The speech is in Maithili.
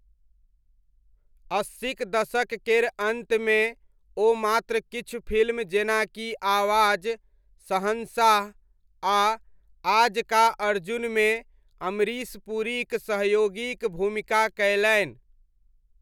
अस्सीक दशक केर अन्तमे, ओ मात्र किछु फिल्म जेनाकि आवाज, शहंशाह आ आज का अर्जुनमे अमरीश पुरीक सहयोगीक भूमिका कयलनि।